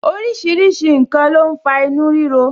Orísìírísìí n kan ló ń fa inú rírọ